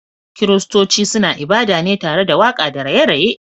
Kiristonci suna ibada ne tare waka da raye raye